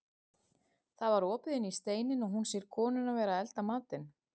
Það var opið inn í steininn og hún sér konuna vera að elda matinn.